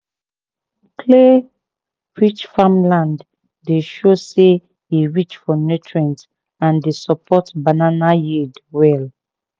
clay-rich farmland dey show say e rich for nutrient and dey support banana yield well."